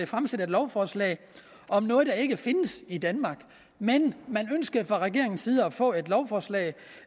fremsætte et lovforslag om noget der ikke findes i danmark men man ønskede fra regeringens side at få et lovforslag